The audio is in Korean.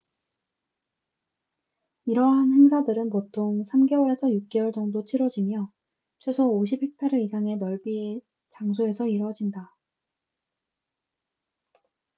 이러한 행사들은 보통 3개월에서 6개월 정도 치뤄지며 최소 50헥타르 이상의 넓이의 장소에서 이루어진다